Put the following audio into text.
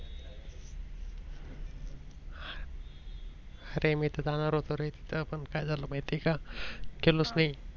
अरे मी तर जाणार होतो रे तिथं पण काय झाल माहित आहे का गेलोच नाही.